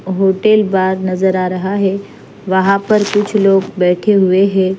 Hotel bar नज़र आरहा है वहां पर कुछ लोग बैठे हुए हैं।